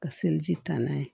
Ka seliji taa n'a ye